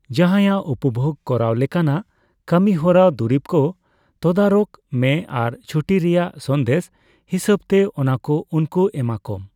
ᱡᱟᱦᱟᱸᱭᱟᱜ ᱩᱯᱚᱵᱷᱳᱜ ᱠᱚᱨᱟᱣ ᱞᱮᱠᱟᱱᱟᱜ ᱠᱟᱹᱢᱤᱦᱚᱨᱟ ᱫᱩᱨᱤᱵ ᱠᱚ ᱛᱚᱫᱟᱨᱚᱠ ᱢᱮ ᱟᱨ ᱪᱷᱩᱴᱤ ᱨᱮᱭᱟᱜ ᱥᱟᱸᱫᱮᱥ ᱦᱤᱥᱟᱹᱵᱛᱮ ᱚᱱᱟᱠᱚ ᱩᱱᱠᱩ ᱮᱢᱟᱠᱚᱢ ᱾